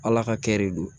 Ala ka kɛ de do